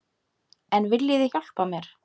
En viljið þið hjálpa mér?